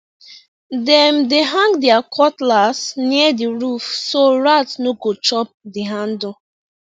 dem dey hang their cutlass near the roof so rat no go chop the handle